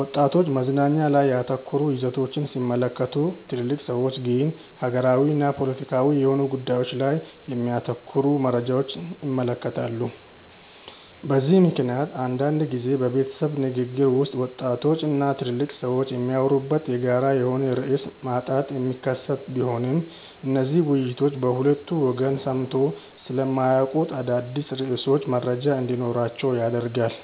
ወጣቶች መዝናኛ ላይ ያተኮሩ ይዘቶችን ሲመለከቱ ትልልቅ ሰዎች ግን ሀገራዊና ፖለቲካዊ የሆኑ ጉዳዮች ላይ የሚያተኩሩ መረጃዎችን ይመለከታሉ። በዚህ ምክንያት አንዳንድ ጊዜ በቤተሰብ ንግግር ውስጥ ወጣቶች እና ትልልቅ ሰዎች የሚያወሩበት የጋራ የሆነ ርዕስ ማጣት የሚከሰት ቢሆንም እነዚህ ውይይቶች በሁለቱ ወገን ሰምተው ስለማያውቁት አዳዲስ ርዕሶች መረጃ እንዲኖራቸው ያደርጋል።